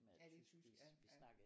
Ja det er tysk ja ja